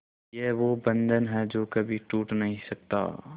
ये वो बंधन है जो कभी टूट नही सकता